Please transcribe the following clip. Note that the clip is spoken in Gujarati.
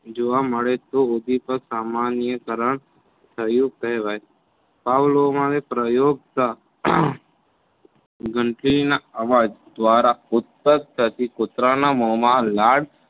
જોવા મળે તો ઉંધીપગ સામાન્ય કરણ થયું કહેવાય. પાવલોમાં ને પ્રયોગ ઘંટડીના અવાજ દ્વારા ઉતપક થતી કુતરાના મોમાં લાળ